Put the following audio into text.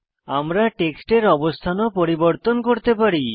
আমরা টেক্সটের অবস্থান ও পরিবর্তন করতে পারি